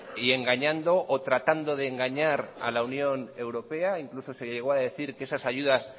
y engañando o tratando de engañar a la unión europea incluso se llegó a decir que esas ayudas